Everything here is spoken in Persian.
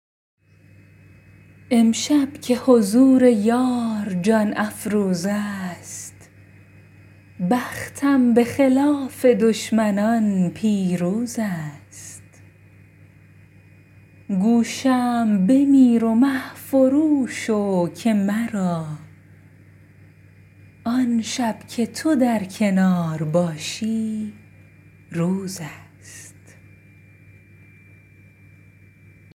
امشب که حضور یار جان افروزست بختم به خلاف دشمنان پیروزست گو شمع بمیر و مه فرو شو که مرا آن شب که تو در کنار باشی روزست